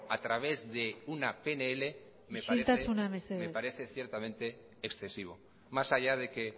a través de una pnl me parece isiltasuna mesedez me parece ciertamente excesivo más allá de que